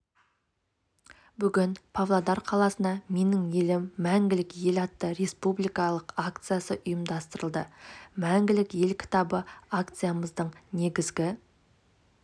бүгін павлодар қаласына менің елім мәңгілік ел атты республикалық акциясы ұйымдастырылды мәңгілік ел кітабы акциямыздың негізгі